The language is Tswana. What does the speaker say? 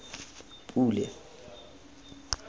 pule